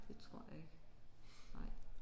Det tror jeg ikke nej